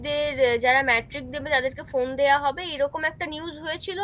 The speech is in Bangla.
যে যারা metric দেবে তাদের কে ফোন দেয়া হবে, এরকম একটা news হয়েছিল,